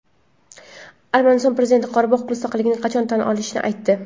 Armaniston prezidenti Qorabog‘ mustaqilligini qachon tan olishini aytdi.